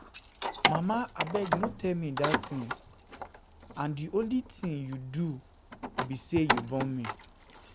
Mama abeg no tell me dat thing and dat thing and the only thing you do be say you born me